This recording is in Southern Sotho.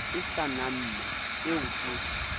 e sa namme eo ke